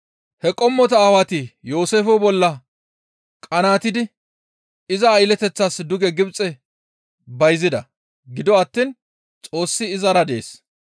«He qommota aawati Yooseefe bolla qanaatidi iza aylleteththas duge Gibxe bayzida; gido attiin Xoossi izara dees.